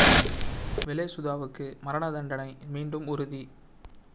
வெலே சுதாவுக்கு மரண தண்டனை மீண்டும் உறுதி